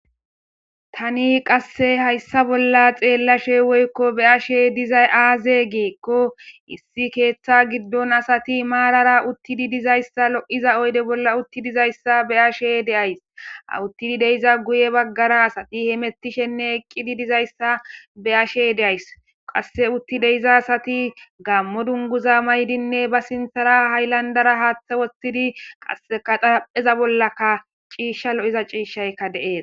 tani qasse hayssa bolla xeellashe woykko be ashe dizay aaze geekko issi keeththa giddon asati maarara uttidi dizayssa lo7iza oyde bolla utti dizayssa be ashe deays auttidi deiza guye baggara asati hemettishenne eqqidi dizayssa be ashe deays qasse utti deiza asati gammo dunguza maydinne ba sinthara hayllandara haaththa wotidi qas kadapheza bollaka ciishsha lo7iza ciishshayka deees